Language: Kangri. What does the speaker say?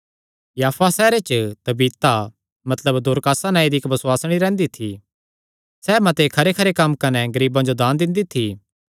याफा सैहरे च तबीता मतलब दोरकास नांऐ दी इक्क बसुआसणी रैंह्दी थी सैह़ मते खरेखरे कम्म कने गरीबां जो दान दिंदी थी